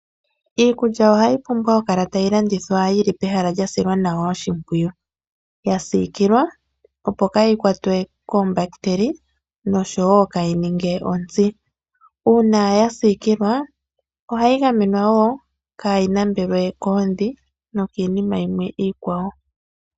Iikulya ihayi pumbwa okukala tayi landithwa yili pehala lyasilwa nawa oshimpwiyu, yasiikilwa opo kaayi kwatwe koombahitele noshowo kaayininge ontsi, uuna yasiikilwa ohayi gamenwa wo kaayi nambelwe koondhi nokiinima yimwe iikwawo.